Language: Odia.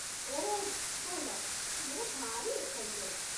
ଓଃ ଭଲ, ମୁଁ ଭାରି ଏକ୍ସାଇଟେଡ୍ ।